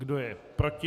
Kdo je proti?